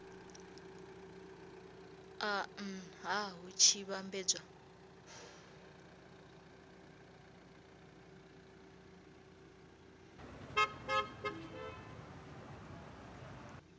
a nha hu tshi vhambedzwa